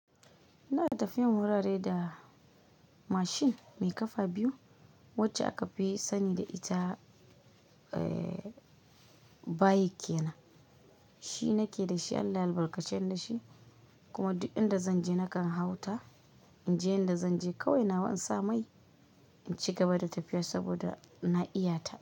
Ina tafiya wurare da mashin mai kafa biyu wacce aka fi sani da ita, eh, bike kanan. Shi na ke da shi, Allah ya albarkace ni da shi kuma duk inda zan je nakan hau ta. In je inda zan je kawai nawa in sa mai, in ci gaba da tafiya saboda na iyata.